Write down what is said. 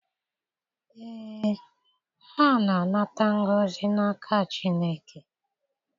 Ee, ha na-anata ngọzi n'aka Chineke.